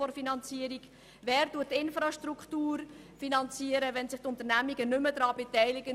Wer finanziert die Infrastruktur, wenn sich die Unternehmungen nicht mehr daran beteiligen?